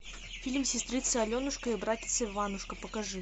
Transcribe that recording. фильм сестрица аленушка и братец иванушка покажи